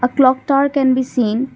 a clock tower can be seen.